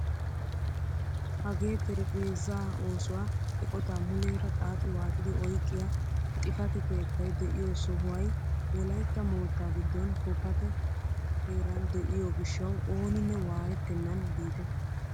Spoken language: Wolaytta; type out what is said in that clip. Hagee terephezaa oosuwaa eqotaa muleera xaaxi waaxidi oyqqiyaa xifate keettay de'iyoo sohuway wolaytta moottaa giddon kookate heeran de'iyoo giishshawu ooninne waayettenan biite!